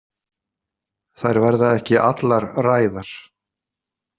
Þær verða ekki allar ræðar.